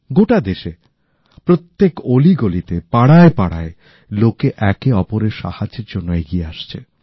গোটা দেশে প্রত্যেক অলি গলিতে পাড়ায় পাড়ায় লোকে একে অপরের সাহায্যের জন্য এগিয়ে আসছে